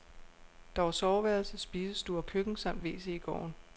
Der var soveværelse, spisestue og køkken samt wc i gården.